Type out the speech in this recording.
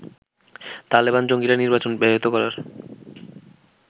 তালেবান জঙ্গিরা নির্বাচন ব্যবহত করার